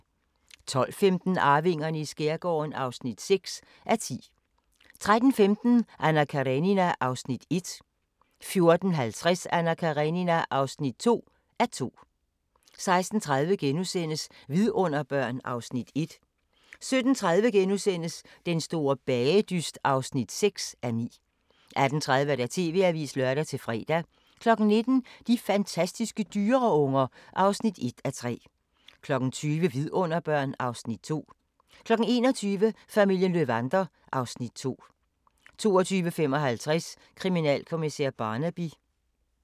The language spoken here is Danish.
12:15: Arvingerne i skærgården (6:10) 13:15: Anna Karenina (1:2) 14:50: Anna Karenina (2:2) 16:30: Vidunderbørn (Afs. 1)* 17:30: Den store bagedyst (6:9)* 18:30: TV-avisen (lør-fre) 19:00: De fantastiske dyreunger (1:3) 20:00: Vidunderbørn (Afs. 2) 21:00: Familien Löwander (Afs. 2) 22:55: Kriminalkommissær Barnaby